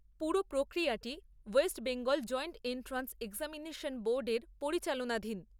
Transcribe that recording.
পুরো প্রক্রিয়াটি West Bengal joint entrance বোর্ডের পরিচালনাধীন।